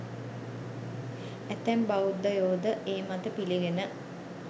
ඇතැම් බෞද්ධයෝ ද ඒ මත පිළිගෙන